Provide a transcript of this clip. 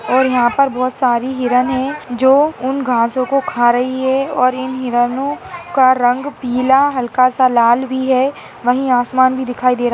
और यहां पर बहुत सारी हिरण है जो उन घासो को खा रही है और इन हिरनों का रंग पीला हल्का सा लाल भी है वही आसमान भी दिखाई दे रहा है।